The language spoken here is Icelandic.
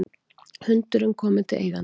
Hundurinn kominn til eigandans